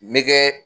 N bɛ kɛ